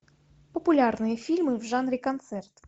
популярные фильмы в жанре концерт